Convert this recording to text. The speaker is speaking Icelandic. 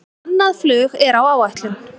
Annað flug er á áætlun